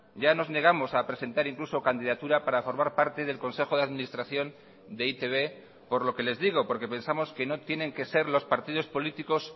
ya nos negamos a presentar incluso candidatura para formar parte del consejo de administración de e i te be por lo que les digo porque pensamos que no tienen que ser los partidos políticos